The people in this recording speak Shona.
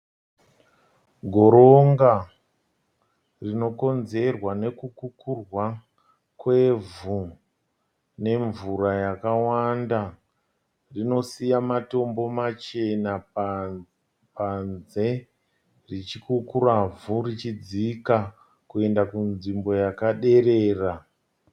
Goronga rinokonzerwa nekukurwa kwevhu nemvura yakawanda. Rinosiya matombo machena panze richikukura vhu richidzika kuenda kunzvimbo yakaderera.